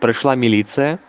пришла милиция